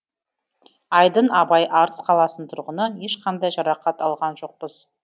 айдын абай арыс қаласының тұрғыны ешқандай жарақат алған жоқпыз